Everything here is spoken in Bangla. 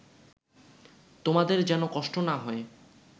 তোমাদের যেন কষ্ট না হয়